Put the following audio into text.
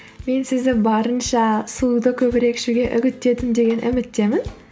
мен сізді барынша суды көбірек ішуге үгіттедім деген үміттемін